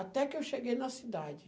Até que eu cheguei na cidade.